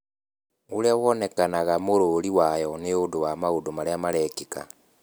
Ũrĩa woonekaga mũrũũri wayo nĩ ũndũ wa maũndũ marĩa marekĩka.